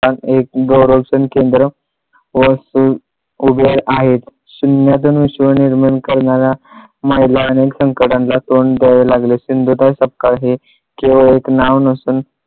गौरव शन केंद्र वस्तू उभे आहेत. शून्यातून विश्व निर्माण करणाऱ्या माईला अनेक संकटांना तोंड द्यावे लागले. सिंधुताई सपकाळ हे केवळ एक नाव नसून